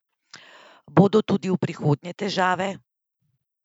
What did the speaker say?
Bodo tudi v prihodnje težave?